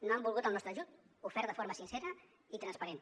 no han volgut el nostre ajut ofert de forma sincera i transparent